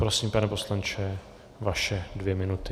Prosím, pane poslanče, vaše dvě minuty.